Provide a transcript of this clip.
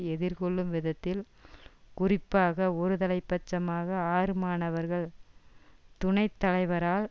எதிர்கொள்ளும் விதத்தில் குறிப்பாக ஒருதலை பட்சமாக ஆறு மாணவர்கள் துணை தலைவரால்